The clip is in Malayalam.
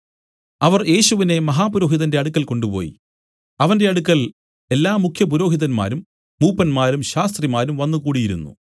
അവർ യേശുവിനെ മഹാപുരോഹിതന്റെ അടുക്കൽ കൊണ്ടുപോയി അവന്റെ അടുക്കൽ എല്ലാ മുഖ്യപുരോഹിതന്മാരും മൂപ്പന്മാരും ശാസ്ത്രിമാരും വന്നു കൂടിയിരുന്നു